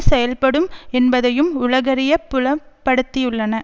செயல்படும் என்பதையும் உலகறியப் புலப்படுத்தியுள்ளன